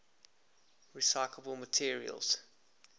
recyclable materials